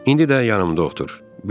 İndi də yanımda otur.